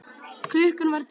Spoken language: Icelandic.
Klukkan var tíu.